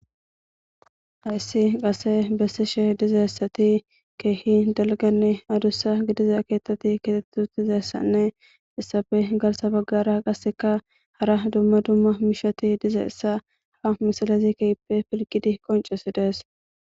haissi qase bessishe dizayssati keehi dalganne adussa gidiza keettati keteti dizayssanne issabe galsa baggara qasseka hara dumma dumma mishati dizaissa ha misalazi keipe pilgidi qoncesidees